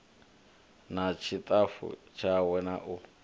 na ṱshitafu tshawe na u